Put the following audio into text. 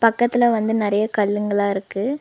பக்கத்துல வந்து நறைய கல்லுங்களா இருக்கு.